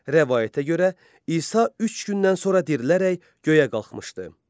Rəvayətə görə İsa üç gündən sonra dirilərək göyə qalxmışdı.